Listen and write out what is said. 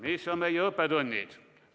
Mis on meie õppetunnid?